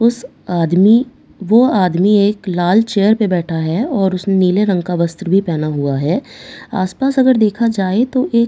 उस आदमी वह आदमी एक लाल चेयर पे बैठा है और उसने नीले रंग का वस्त्र भी पहना हुआ है आसपास अगर देखा जाए तो एक टी_वी --